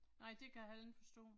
Nej det kan jeg heller ikke forstå